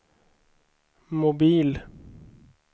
mobil